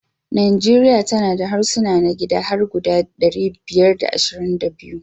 Nijeriya tana da harsuna na gida har guda ɗari biyar da ashirin da biya